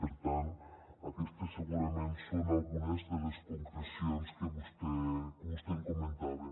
per tant aquestes segurament són algunes de les concrecions que vostè em comentava